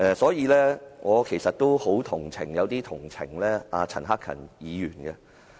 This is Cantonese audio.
所以，我其實也有些同情陳克勤議員。